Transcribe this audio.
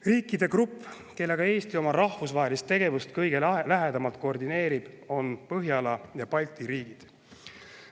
Kõige lähedamalt koordineerib Eesti oma rahvusvahelist tegevust Põhjala ja Balti riikidega.